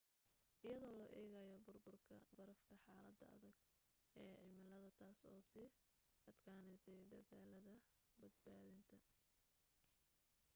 iyadoo loo egayo burburka barafka xalada adage e cimilada taas oo sii adkaneysay dadaalada badbaadinta